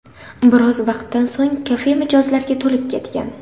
Biroz vaqtdan so‘ng kafe mijozlarga to‘lib ketgan.